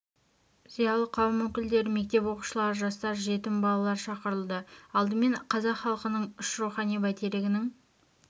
зиялы қауым өкілдері мектеп оқушылары жастар жетім балалар шақырылды алдымен қазақ хылқының үш рухани бәйтерегінің